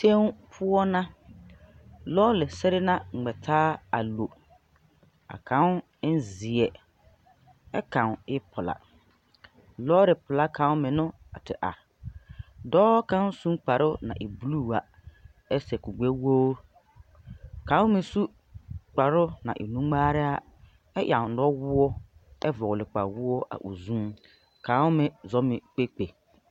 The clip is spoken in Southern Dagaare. Tẽõ poɔ na. Lɔɔre sere na ŋmɛ taa a lo. A kãõ en zeɛ ɛ kãõ e pelaa. Lɔɔre pelaa kãõ meŋ no a te are. Dɔɔ kaŋ meŋ sũ kparo na e buluu a, ɛ sɛ kur-gbɛwoor. A kãõ meŋ su kparo na e nu-ŋmaarɛ a ɛ ɛŋ nɔwoɔ ɛ vɔgle kpawoɔ. Kãõ meŋ zɔŋ ne kpekpe.